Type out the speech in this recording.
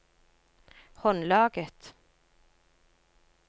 håndlaget